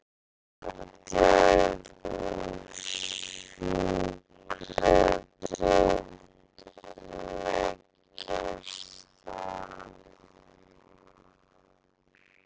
Fæðingardeild og sjúkradeild leggjast af